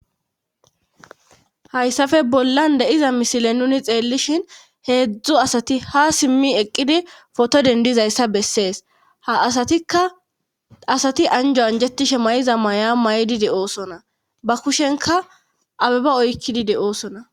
Hayssafe bollan deiza misile nuni xeellishin heedzdzu asati ha simmi eqqidi foto dendizayssa bessees ha aatika asati anjo anjetishe may'a may'di de'oosona ba kushenka abeba oykkidi de oosona.